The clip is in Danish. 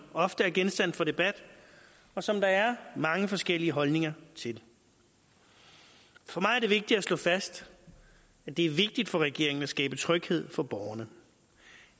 ofte er genstand for debat og som der er mange forskellige holdninger til for mig er det vigtigt at slå fast er det er vigtigt for regeringen at skabe tryghed for borgerne